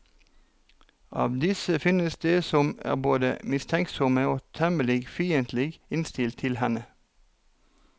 Av disse finnes de som er både mistenksomme og temmelig fiendtlig innstilt til henne.